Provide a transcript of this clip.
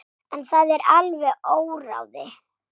En það er alveg óráðið.